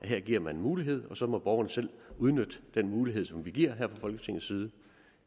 her giver en mulighed og så må borgerne selv udnytte den mulighed som vi giver her fra folketingets side